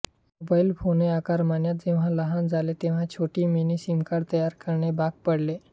mobile phone आकारमान जेव्हा लहान झाले तेव्हा छोटी मिनी सिमकार्ड तयार करणे भाग पडले